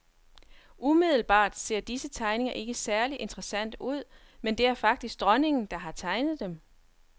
Umiddelbart ser disse tegninger ikke særlig interessante ud, men det er faktisk dronningen, der har tegnet dem.